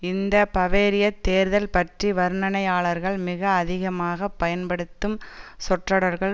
இந்த பவேரியத் தேர்தல் பற்றி வர்ணனையாளர்கள் மிக அதிகமாக பயன்படுத்தும் சொற்றொடர்கள்